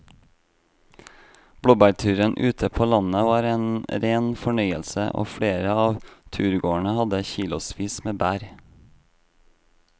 Blåbærturen ute på landet var en rein fornøyelse og flere av turgåerene hadde kilosvis med bær.